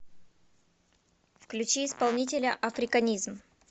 включи исполнителя африканизм